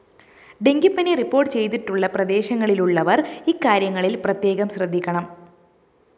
ഡെങ്കിപ്പനി റിപ്പോർട്ട്‌ ചെയ്തിട്ടുള്ള പ്രദേശങ്ങളിലുള്ളവര്‍ ഇക്കാര്യങ്ങളില്‍ പ്രത്യേകം ശ്രദ്ധിക്കണം